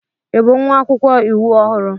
Ị bụ nwa akwụkwọ iwu ọhụrụ?